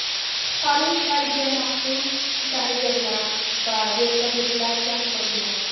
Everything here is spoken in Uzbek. Qutqaruv ishlariga maxsus dayverlar va vertolyotlar jalb qilingan.